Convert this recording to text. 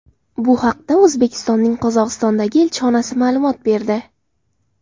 Bu haqda O‘zbekistonning Qozog‘istondagi elchixonasi ma’lumot berdi .